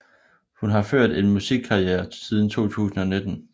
Hun har ført en musikkarriere siden 2009